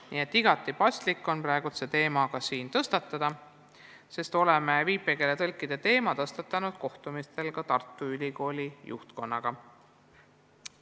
Nii on igati paslik praegu see teema siingi üles võtta, sest oleme viipekeeletõlkide koolituse jutuks võtnud ka kohtumistel Tartu Ülikooli juhtkonnaga.